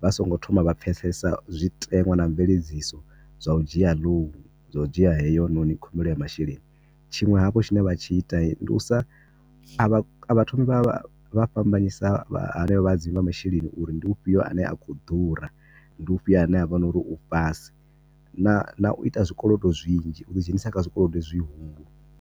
vha songo thoma vha pfesesa zwitenwa na mveledziso zwo u dzhia lounu, zwo u dzhia heyenoni khumbelo ya masheleni. Tshinwe hafhu tshi ne vha tshi ita ndi u sa, avha avha thomi vha vha vha fhambanyisa vha, hanevha vha masheleni, uri ndi ufhio ane a khou ḓura, ndi u fhio ane a vha uri u fhasi, na na u ita zwikolodo zwinzhi, u ḓi dzhenisa kha zwikolodo zwihulu.